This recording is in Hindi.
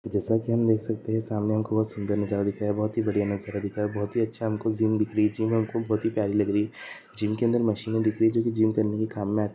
जैसा की हम देख सकते है सामने हमको बहुत सुंदर नजारा दिख रहा है बहुत हि बढिया नजारा दिख रहा है बहोत ही अच्छी जिम दिखरहि बहोत ही प्यारी लग रही है जिनके अंदर मशीन दिख रही है जो कि जिम करणे के काम मे अति है।